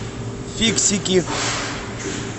фиксики